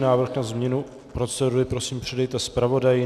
Návrh na změnu procedury, prosím, předejte zpravodaji.